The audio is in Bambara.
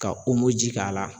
Ka ji k'a la